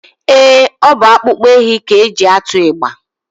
Ee, ọ bụ akpụkpọ ehi ka e ji atụ ịgba